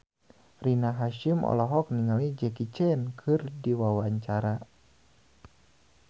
Rina Hasyim olohok ningali Jackie Chan keur diwawancara